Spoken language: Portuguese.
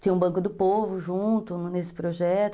Tinha um banco do povo junto nesse projeto.